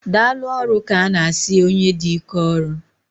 Daalụ ọrụ ka ana asị onye dị ike ọrụ